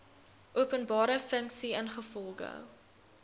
openbare funksie ingevolge